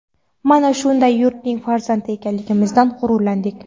Mana shunday yurtning farzandi ekanligimizdan g‘ururlandik.